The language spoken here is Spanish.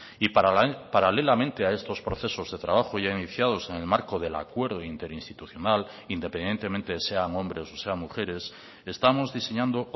y paralelamente a estos procesos de trabajo ya iniciados en el marco del acuerdo interinstitucional independientemente sean hombres o sean mujeres estamos diseñando